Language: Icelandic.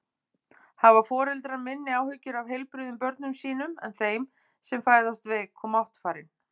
Hafa foreldrar minni áhyggjur af heilbrigðum börnum sínum en þeim sem fæðast veik og máttfarin?